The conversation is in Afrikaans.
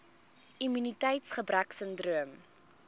immuniteits gebrek sindroom